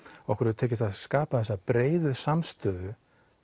okkur hefur tekist að skapa þessa breiðu samstöðu